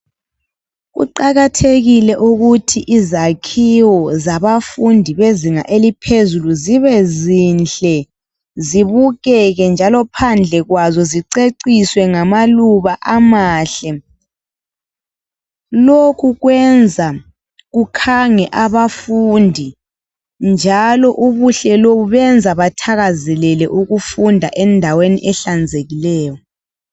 Kuqakathekile ukuthi izakhiwo zabafundi bezinga eliphezulu zibe zinhle, zibukeke njalo phandle kwazo ziceciswe ngamaluba amahle. Lokhu kwenza kukhange abafundi njalo ubuhle lobu buyenza bathakazelele ukufunda endaweni ehlanzekileyo.